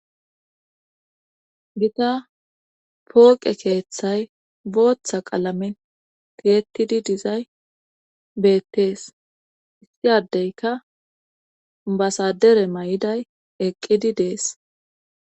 gita pooqe keeththay booththa qalame tiyettidi dizay beettees issiadeyka basadere may7iday eqqidi dees